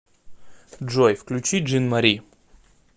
джой включи джин мари